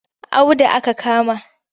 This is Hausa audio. Audu aka kama